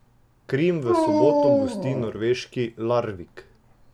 Krim v soboto gosti norveški Larvik.